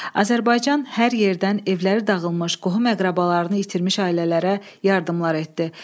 Azərbaycan hər yerdən evləri dağılmış, qohum-əqrəbalarını itirmiş ailələrə yardımlar etdi.